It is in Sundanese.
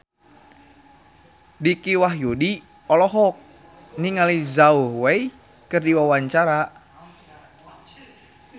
Dicky Wahyudi olohok ningali Zhao Wei keur diwawancara